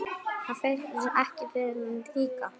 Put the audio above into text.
Finnst þér það ekki líka?